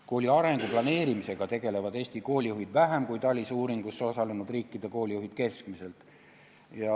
Kooli arengu planeerimisega tegelevad Eesti koolijuhid vähem kui TALIS-e uuringus osalenud riikide koolijuhid keskmiselt.